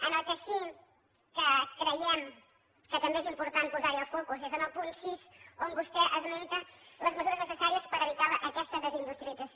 en el que sí que creiem que també és important posar el focus és en el punt sis on vostè esmenta les mesures necessàries per evitar aquesta desindustrialització